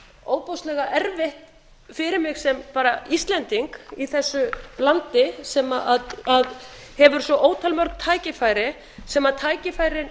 ofboðslega erfitt fyrir mig sem bara íslending í þessu landi sem hefur svo ótal mörg tækifæri þar sem tækifærin